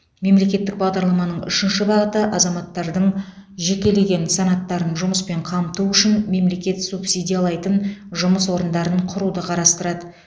мемлекеттік бағдарламаның үшінші бағыты азаматтардың жекелеген санаттарын жұмыспен қамту үшін мемлекет субсидиялайтын жұмыс орындарын құруды қарастырады